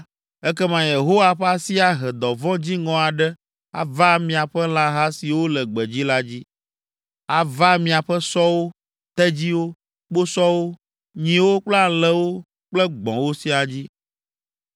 ekema Yehowa ƒe asi ahe dɔvɔ̃ dziŋɔ aɖe ava miaƒe lãha siwo le gbedzi la dzi, ava miaƒe sɔwo, tedziwo, kposɔwo, nyiwo kple alẽwo kple gbɔ̃wo siaa dzi.